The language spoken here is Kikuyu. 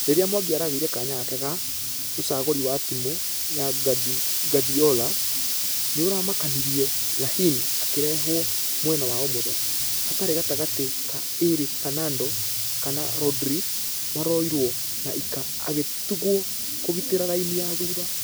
Rĩrĩa mwangi aragĩire kanya gake ga.....ũcagũri wa timũ ya guardiola nĩũramakanirie raheen akĩrehwo mwena wa ũmotho , hatiri gatagatĩ ka ĩrĩ fernando kana rodri marũirwo na ilkay agĩtogwo kũgitĩra raini ya thutha.